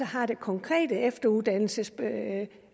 har det konkrete efteruddannelsesansvar